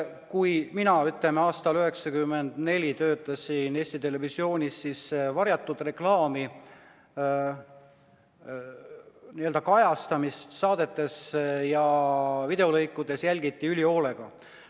Kui mina aastal 1994 töötasin Eesti Televisioonis, siis jälgiti varjatud reklaami n-ö kajastamist saadetes ja videolõikudes ülima hoolega.